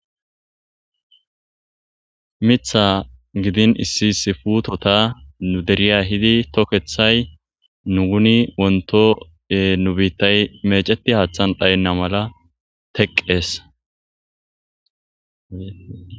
mitha gidin issi issi putota nu deriya yiidi tokkethay nuni wonto nu biittay meeceti haaththan dhaynna mala teqqees